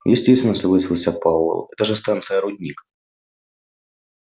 естественно согласился пауэлл это же станция-рудник